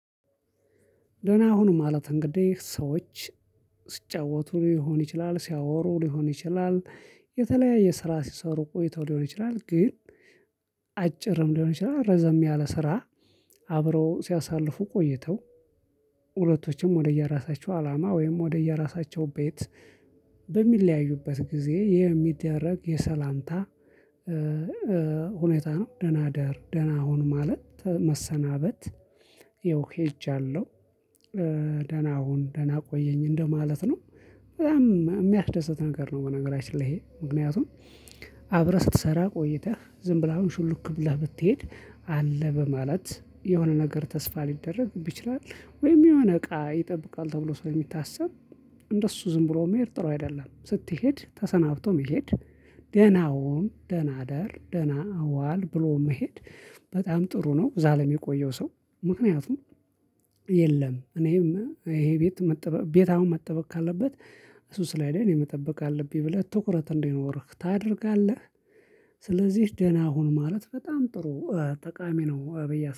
ደህና ሁኑ ማለት እንግዲህ ሰዎች ሲጫወቱ ሊሆን ይችላል ሲያወሩ ሊሆን ይችላል የተለያየ ስራ ሲሰሩ ቆይተው ሊሆን ይችላል። ግን አጭርም ሊሆን ይችላል ረዘም ያለ ስራ አብረው ሲያሳልፉ ቆይተው ሁለቶችም ወደየራሳቸው አላማ ወይም ወደየራሳቸው ቤት በሚለያዩበት ጊዜ ይሄ የሚደረግ የሰላምታ ሁኔታ ነው። ደህና ደር ደህና ሁን ማለት መሰናበት፣ ያው ሄጃለሁ። ደህና ሁን ደህና ቆየኝ እንደማለት ነው። በጣም የሚያስደስት ነገር ነው በነገራችን ላይ ይሄ። ምክንያቱም አብረህ ስትሰራ ቆይተህ ዝም ብለህ አሁን ሹልክ ብለህ ብትሄድ አለ በማለት የሆነ ነገር ተስፋ ሊደረግ ይችላል ወይም የሆነ እቃ ይጠብቃል ተብሎ ስለሚታሰብ እንደሱ ዝም ብሎ መሄድ ጥሩ አይደለም። ስትሄድ ተሰናብቶ መሄድ ደህና ሁን ደህና እደር ደህና አዋል ብሎ መሄድ በጣም ጥሩ ነው እዛ ለሚቆየው ሰው። ምክንያቱም የለም እኔም ይሄ ቤት ቤት አሁን መጠበቅ ካለበት እሱ ስለሄደ እኔ መጠበቅ አለብኝ ብለህ ትኩረት እንዲኖርህ ታደርጋለህ። ስለዚህ ደህና ሁን ማለት በጣም ጥሩ ጠቃሚ ነው ብዬ አስባለሁ።